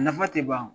Nafa tɛ ban